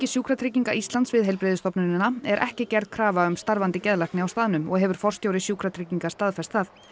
Sjúkratrygginga Íslands við heilbrigðisstofnunina er ekki gerð krafa um starfandi geðlækni á staðnum og hefur forstjóri Sjúkratrygginga staðfest það